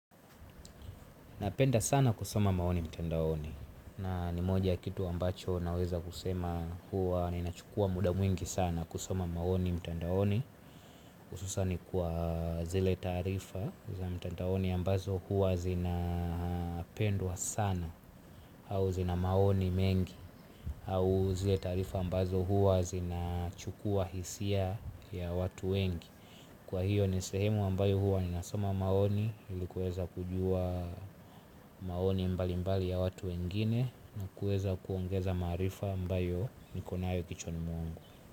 Napenda sana kusoma maoni mtandaoni na ni moja ya kitu ambacho naweza kusema huwa ninachukua muda mwingi sana kusoma maoni mtandaoni. Hususan kwa zile taarifa za mtandaoni ambazo huwa zina pendwa sana au zina maoni mengi au zile taarifa ambazo huwa zinachukua hisia ya watu wengi. Kwa hiyo ni sehemu ambayo huwa ninasoma maoni ili kuweza kujua maoni mbalimbali ya watu wengine na kuweza kuongeza maarifa ambayo niko nayo kichwani mwangu.